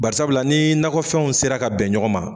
Barisabulaw ni nakɔfɛnw sera ka bɛn ɲɔgɔn ma.